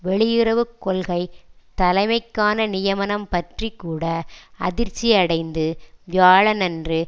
வெளியுறவு கொள்கை தலைமைக்கான நியமனம் பற்றி கூட அதிர்ச்சி அடைந்து வியாழனன்று